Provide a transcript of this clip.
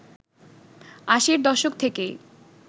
আশির দশক থেকেই